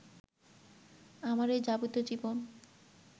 আমার এই যাপিত জীবন